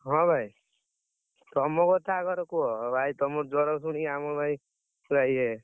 ହଁ ଭାଇ। ତମ କଥା ଆଗର କୁହ ଇଏ।